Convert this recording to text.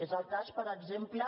és el cas per exemple